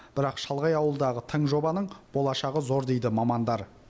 бірақ шалғай ауылдағы тың жобаның болашағы зор дейді мамандар